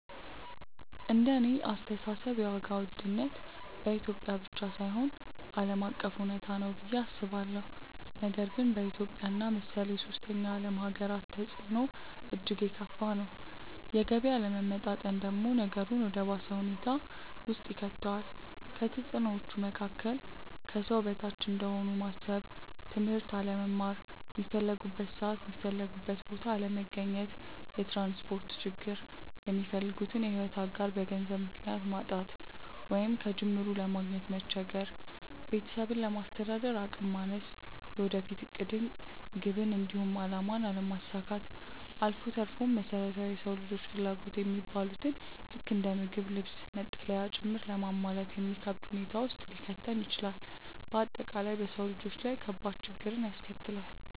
እንደኔ አስተሳሰብ የዋጋ ውድነት በኢትዮጵያ ብቻ ሳይሆን ዓለም አቀፍ እውነታ ነው ብዬ አስባለሁ፤ ነገር ግን በኢትዮጵያ እና መሰል የሶስተኛ ዓለም ሃገራት ተፅዕኖው እጅግ የከፋ ነው። የገቢ አለመመጣጠን ደግሞ ነገሩን ወደ ባሰ ሁኔታ ውስጥ ይከተዋል። ከተፅዕኖዎቹ መካከል፦ ከሰው በታች እንደሆኑ ማሰብ፣ ትምህርት አለመማር፣ ሚፈልጉበት ሰዓት የሚፈልጉበት ቦታ አለመገኘት፣ የትራንስፖርት ችግር፣ የሚፈልጉትን የሕይወት አጋር በገንዘብ ምክንያት ማጣት ወይንም ከጅምሩ ለማግኘት መቸገር፣ ቤተሰብን ለማስተዳደር አቅም ማነስ፣ የወደፊት ዕቅድን፣ ግብን፣ እንዲሁም አላማን አለማሳካት አልፎ ተርፎም መሰረታዊ የሰው ልጆች ፍላጎት የሚባሉትን ልክ እንደ ምግብ፣ ልብስ፣ መጠለያ ጭምር ለማሟላት የሚከብድ ሁኔታ ውስጥ ሊከተን ይችላል። በአጠቃላይ በሰው ልጆች ላይ ከባድ ችግርን ያስከትላል።